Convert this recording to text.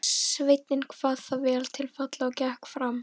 Sveinninn kvað það vel til fallið og gekk fram.